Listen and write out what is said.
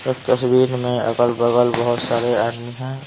एक तस्वीर में अगल-बगल बहुत सारे आदमी हैं।